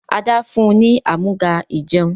Ada fún ní Amúga-ìjẹun.